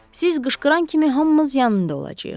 Siz qışqıran kimi hamımız yanında olacağıq.